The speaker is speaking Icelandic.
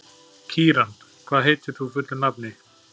Kíran, hvað heitir þú fullu nafni?